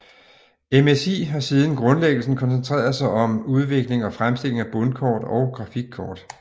MSI har siden grundlæggelsen koncentreret sig om udvikling og fremstilling af bundkort og grafikkort